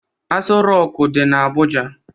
Asọ roku dị n'Abuja